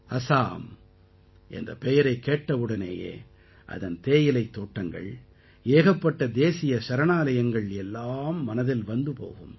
அஸாம் என்ற பெயரைக் கேட்டவுடனேயே அதன் தேயிலைத் தோட்டங்கள் ஏகப்பட்ட தேசிய சரணாலயங்கள் எல்லாம் மனதில் வந்து போகும்